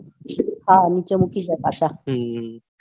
હા નીચે મૂકી જાય પાછા હમ